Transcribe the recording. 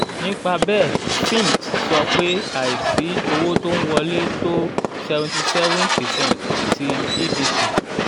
nípa bẹ́ẹ̀ fitch sọ pé àìsí owó tó ń wọlé tó seventy seven percent ti gdp.